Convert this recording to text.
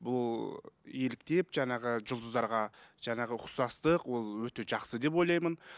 бұл еліктеп жаңағы жұлдыздарға жаңағы ұқсастық ол өте жақсы деп ойлаймын